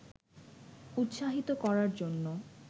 উৎসাহিত করার জন্য